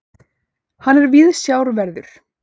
Hann er viðsjárverður.